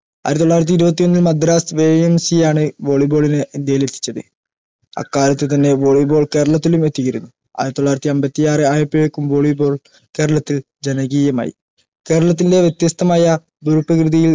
ആയിരത്തി തൊള്ളായിരത്തി ഇരുപത്തിയൊന്നിൽ മദ്രാസ് YMC ആണ് volley ball നെ ഇന്ത്യയിൽ എത്തിച്ചത് അക്കാലത്തു തന്നെ volley ball കേരളത്തിലും എത്തി യിരുന്നു ആയിരത്തി തൊള്ളായിരത്തി അമ്പത്തിയാറ് ആയപ്പോഴേക്കും volley ball കേരളത്തിൽ ജനകീയമായി കേരളത്തിൻറെ വ്യത്യസ്തമായ ഭൂപ്രകൃതിയിൽ